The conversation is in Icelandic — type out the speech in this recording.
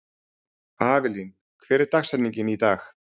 Avelín, hver er dagsetningin í dag?